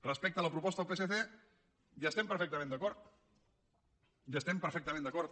respecte a la proposta del psc hi estem perfectament d’acord hi estem perfectament d’acord